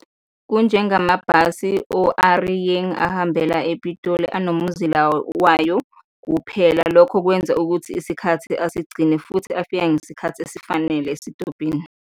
Kunjengamabhasi o-A Re Yeng, ahambela ePitoli, anomuzila wayo kuphela, lokho kwenza ukuthi isikhathi asigcine futhi afika ngesikhathi esifanele esitobhini.